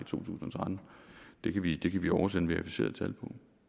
tusind og tretten det kan vi kan vi oversende verificerede tal